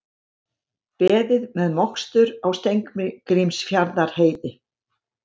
Beðið með mokstur á Steingrímsfjarðarheiði